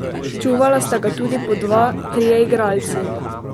Čuvala sta ga tudi po dva, trije igralci.